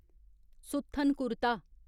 सुथ्थन कुरता